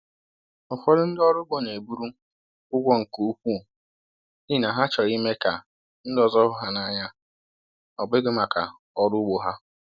Ụfọdụ ndị ọrụ ugbo na-eburu ụgwọ nke ukwuu n’ihi na ha chọrọ ime ka ndị ọzọ hụ ha n’anya, ọ bụghị maka ọrụ ugbo ha.